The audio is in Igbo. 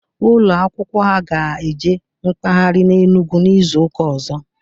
Ụlọ akwụkwọ ha ga eje mkpaghari n'Enugu n'izuka ọzọ